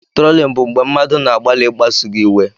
Trolling bụ mgbe mmadụ na-agbalị ịkpasu gị iwe.